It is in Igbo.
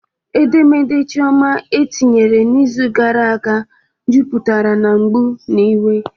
Edemede Chioma etinyere n'izu gara aga juputara na mgbu na iwe